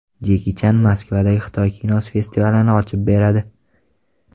Jeki Chan Moskvadagi Xitoy kinosi festivalini ochib beradi.